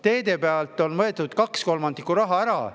Teedeehituselt on võetud kaks kolmandikku raha ära.